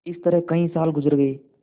इस तरह कई साल गुजर गये